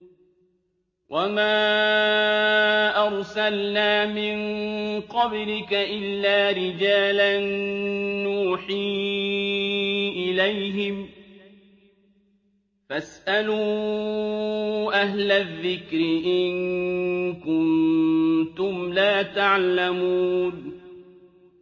وَمَا أَرْسَلْنَا مِن قَبْلِكَ إِلَّا رِجَالًا نُّوحِي إِلَيْهِمْ ۚ فَاسْأَلُوا أَهْلَ الذِّكْرِ إِن كُنتُمْ لَا تَعْلَمُونَ